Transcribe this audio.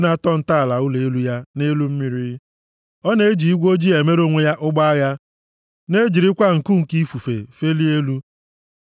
na-atọ ntọala ụlọ elu ya nʼelu mmiri. + 104:3 \+xt Ems 9:6\+xt* Ọ na-eji igwe ojii emere onwe ya ụgbọ agha na-ejirikwa nku nke ifufe felie elu.